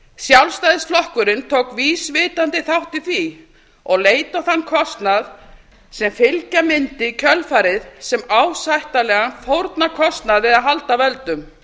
sjálfstæðisflokkurinn tók vísvitandi þátt í því og leit á þann kostnað sem fylgja mundi í kjölfarið sem ásættanlegan fórnarkostnað við að halda völdum